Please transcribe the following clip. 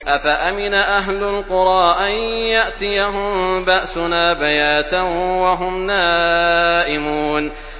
أَفَأَمِنَ أَهْلُ الْقُرَىٰ أَن يَأْتِيَهُم بَأْسُنَا بَيَاتًا وَهُمْ نَائِمُونَ